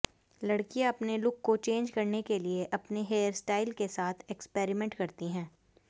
लड़कियां अपने लुक को चेंज करने के लिए अपने हेयरस्टाइल के साथ एक्सपेरिमेंट करती हैं